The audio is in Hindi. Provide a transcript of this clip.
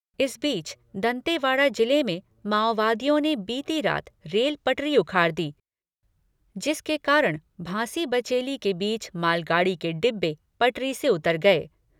इस बीच, दंतेवाड़ा जिले में माओवादियों ने बीती रात रेल पटरी उखाड़ दी, जिसके कारण भांसी बचेली के बीच मालगाड़ी के डिब्बे पटरी से उतर गए।